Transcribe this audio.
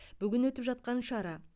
бүгін өтіп жатқан шара